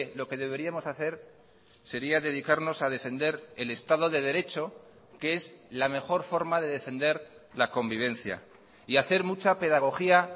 lo que deberíamos hacer sería dedicarnos a defender el estado de derecho que es la mejor forma de defender la convivencia y hacer mucha pedagogía